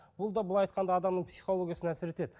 бұл да былай айтқанда адамның психологиясына әсер етеді